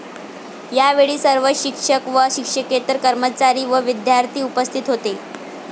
यावेळी सर्व शिक्षक व शिक्षकेतर कर्मचारी व विद्यार्थी उपस्थित होते.